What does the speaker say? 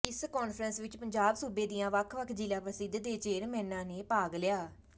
ਇਸ ਕਾਨਫਰੰਸ ਵਿੱਚ ਪੰਜਾਬ ਸੂਬੇ ਦੀਆਂ ਵੱਖ ਵੱਖ ਜ਼ਿਲਾ ਪ੍ਰੀਸ਼ਦ ਦੇ ਚੇਅਰਮੈਨਾਂ ਨੇ ਭਾਗ ਲਿਆ